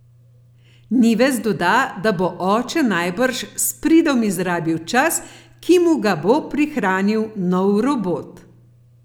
Nives doda, da bo oče najbrž s pridom izrabil čas, ki mu ga bo prihranil nov robot.